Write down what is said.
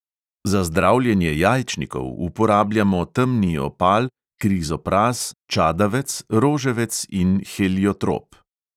Za zdravljenje jajčnikov uporabljamo temni opal, krizopraz, čadavec, roževec in heliotrop.